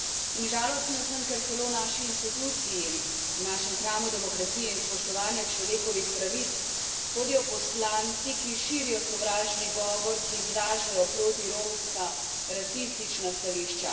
In žalostna sem, ker celo v naši instituciji, v našem hramu demokracije in spoštovanja človekovih pravic, hodijo poslanci, ki širijo sovražni govor, ki izražajo protiromska, rasistična stališča.